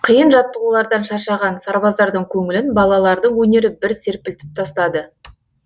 қиын жаттығулардан шаршаған сарбаздардың көңілін балалардың өнері бір серпілтіп тастады